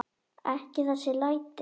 Ekki þessi læti.